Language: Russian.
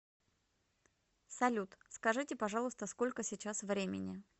салют скажите пожалуйста сколько сейчас времени